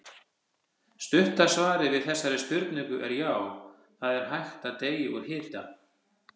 Stutta svarið við þessari spurningu er já, það er hægt að deyja úr hita.